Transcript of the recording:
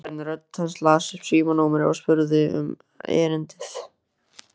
Vélræn rödd las upp símanúmerið og spurði um erindið.